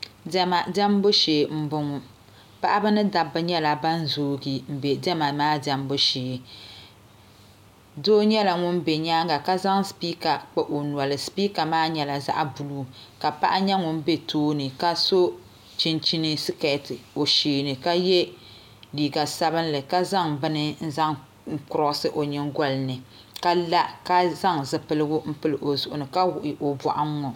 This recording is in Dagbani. Diɛma diɛmbu shee n boŋo paɣaba ni dabba nyɛla ban zoogi bɛ diɛma maa diɛmbu shee doo nyɛla ŋun bɛ nyaanga ka zaŋ sipika kpa o noli sipika maa nyɛla zaɣ buluu ka paɣa nyɛ ŋun bɛ tooni ka so chinchin sikɛti o sheeni ka yɛ liiga sabinli ka zaŋ bini n zaŋ kurosi o nyingoli ni ka la ka zaŋ zipiligu n pili o zuɣu ni ka wuɣi o boɣu n ŋo